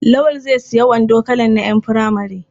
Lawal zai sayi wando kalan na ƴan furamare.